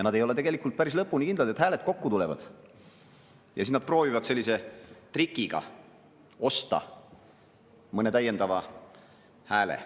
Nad ei ole päris lõpuni kindlad, et hääled kokku tulevad, ja siis nad proovivad sellise trikiga osta mõne täiendava hääle.